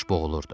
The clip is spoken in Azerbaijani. Baş boğulurdu.